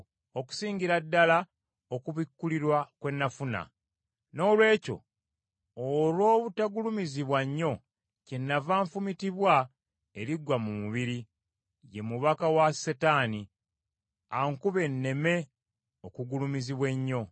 okusingira ddala okubikkulirwa kwe nafuna. Noolwekyo olw’obutagulumizibwa nnyo, kyenava nfumitibwa eriggwa mu mubiri, ye mubaka wa Setaani, ankube nneme okugulumizibwa ennyo.